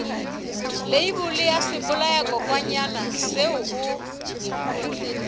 leibole ya sebolayakokwanyana seo o